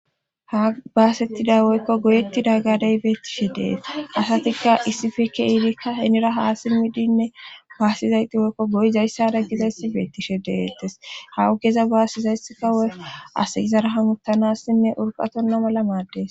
ha baasettida woykko goyetti dag gadey beettishe dees asatikka issifekke iirikka henira haa simidinne baasizayti woykko goy zayssada gizayssi beettishe deettes hawu geza baasizayssika woy as gizara hamuttanassinne urqatonna mala maaddees